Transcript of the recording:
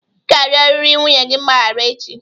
Ị ga-arịọrịrị nwunye gị mgbaghara echi!